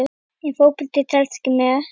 Ef Fótbolti telst ekki með?